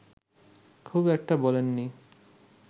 খুব একটা বলেননি